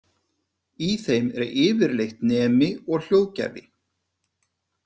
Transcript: Í þeim er yfirleitt nemi og hljóðgjafi.